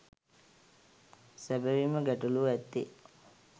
සැබැවින්ම ගැටළුව ඇත්තේ